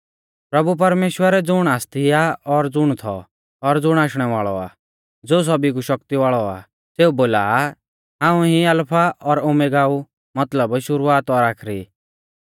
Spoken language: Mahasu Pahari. प्रभु परमेश्‍वर ज़ुण आसती आ और ज़ुण थौ और ज़ुण आशणै वाल़ौ आ ज़ो सौभी कु शक्ति वाल़ौ आ सेऊ बोला आ हाऊं ई अलफा और ओमेगा ऊ मतलब शुरुवात और आखरी